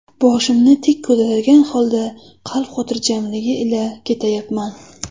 Boshimni tik ko‘targan holda, qalb xotirjamligi ila ketyapman.